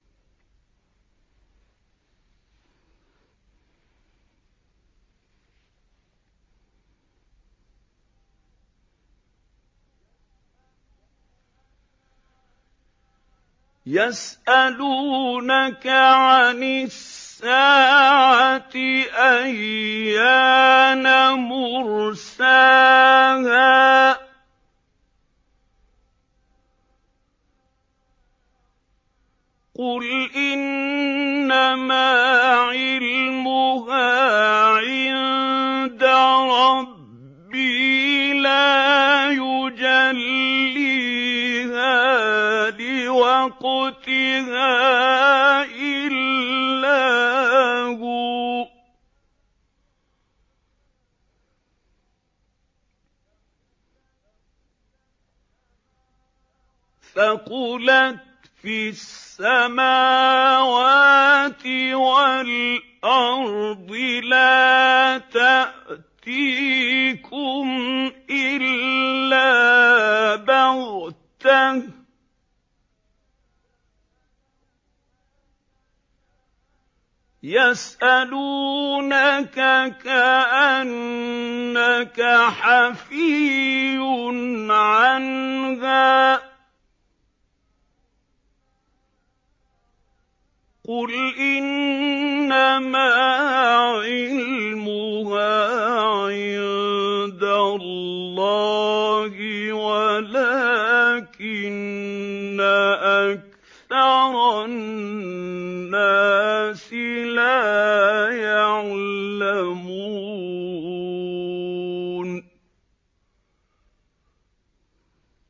يَسْأَلُونَكَ عَنِ السَّاعَةِ أَيَّانَ مُرْسَاهَا ۖ قُلْ إِنَّمَا عِلْمُهَا عِندَ رَبِّي ۖ لَا يُجَلِّيهَا لِوَقْتِهَا إِلَّا هُوَ ۚ ثَقُلَتْ فِي السَّمَاوَاتِ وَالْأَرْضِ ۚ لَا تَأْتِيكُمْ إِلَّا بَغْتَةً ۗ يَسْأَلُونَكَ كَأَنَّكَ حَفِيٌّ عَنْهَا ۖ قُلْ إِنَّمَا عِلْمُهَا عِندَ اللَّهِ وَلَٰكِنَّ أَكْثَرَ النَّاسِ لَا يَعْلَمُونَ